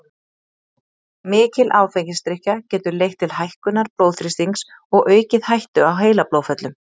Mikil áfengisdrykkja getur leitt til hækkunar blóðþrýstings og aukið hættu á heilablóðföllum.